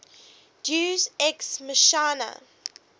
deus ex machina